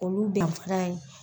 Olu danfara ye